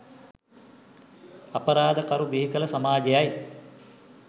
අපරාද කරු බිහිකළ සමාජයයි.